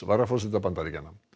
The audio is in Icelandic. varaforseta Bandaríkjanna